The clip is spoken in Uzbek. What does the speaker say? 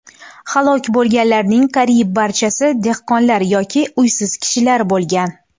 Halok bo‘lganlarning qariyb barchasi dehqonlar yoki uysiz kishilar bo‘lgan.